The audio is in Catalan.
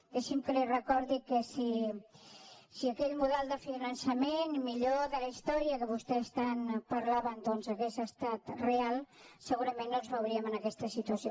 dei·xi’m que li recordi que si aquell model de finançament el millor de la història que vostès tant en parlaven doncs hagués estat real segurament no ens veuríem en aquesta situació